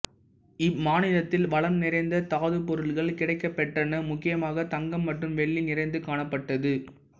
இம்மாநிலத்தில் வளம் நிறைந்த தாதுப்பொருட்கள் கிடைக்கப்பெற்றன முக்கியமாக தங்கம் மற்றும் வெள்ளி நிறைந்து காணப்பட்டது